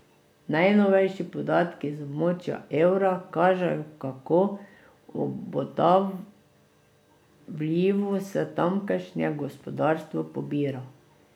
Najnovejši podatki iz območja evra kažejo, kako obotavljivo se tamkajšnje gospodarstvo pobira.